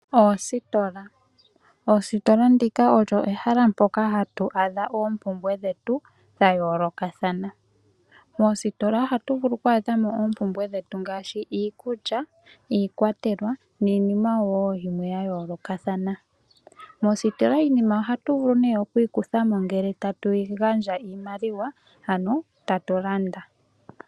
Oositola. Oositola ndika olyo ehala mpoka hatu adha oompumbwe dhetu dha yoolokathana . Moositola ohatu vulu oku adhamo oompumbwe dhetu ngaaashi iikulya, iikwatelwa niinima woo yimwe ya yoolokathana. Moositola iinima ohatu vulu oku yi kuthamo ngele ta tu gandja iimaliwa ano tatulanda.